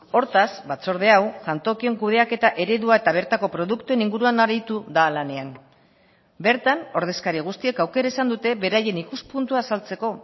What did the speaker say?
hortaz batzorde hau jantokien kudeaketa eredua eta bertako produktuen inguruan aritu da lanean bertan ordezkari guztiek aukera izan dute beraien ikuspuntua azaltzeko